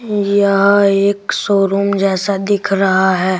यह एक शोरूम जैसा दिख रहा है।